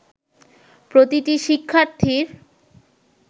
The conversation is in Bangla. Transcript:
প্রতিটি শিক্ষার্থীর